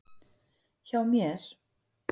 Hjá mér.